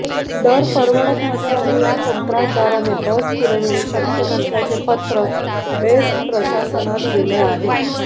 दर परवडत नसल्याने या कंत्राटदाराने बस पुरविणे शक्य नसल्याचे पत्र बेस्ट प्रशासनास दिले आहे